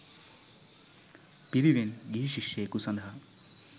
පිරිවෙන් ගිහි ශිෂ්‍යයකු සඳහා